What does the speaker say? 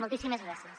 moltíssimes gràcies